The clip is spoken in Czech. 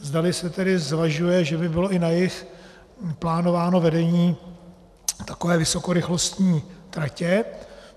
Zdali se tedy zvažuje, že by bylo i na jih plánováno vedení takové vysokorychlostní trati.